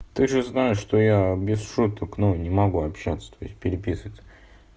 ты же знаешь что я без шуток но не могу общаться то есть переписываться